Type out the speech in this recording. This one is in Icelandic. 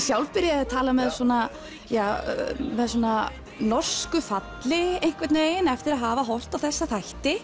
sjálf byrjaði að tala með svona norsku falli einhvern veginn eftir að hafa horft á þessa þætti